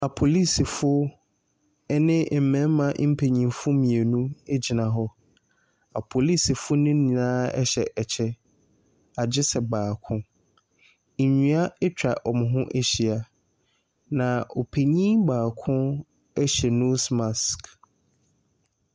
Polisifo ɛne mmarima mmienu ɛgyina hɔ. Apolisifo ne nyinaa ɛhyɛ ɛkyɛ agyesɛ baako. Nnua atwa wɔn ho ahyia. Na ɔpanin baako ɛhyɛ nose mask.